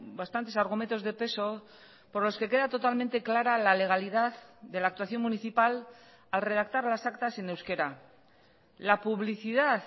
bastantes argumentos de peso por los que queda totalmente clara la legalidad de la actuación municipal al redactar las actas en euskera la publicidad